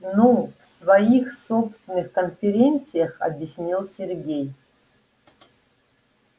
ну в своих собственных конференциях объяснил сергей